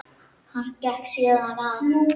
Hann gekk síðan að